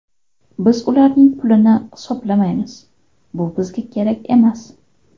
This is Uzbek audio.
Biz ularning pulini hisoblamaymiz, bu bizga kerak ham emas.